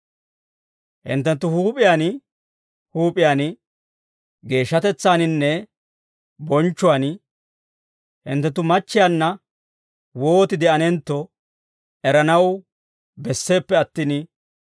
Hinttenttu huup'iyaan huup'iyaan geeshshatetsaaninne bonchchuwaan hinttenttu machchiyaanna wooti de'anentto eranaw besseeppe attin,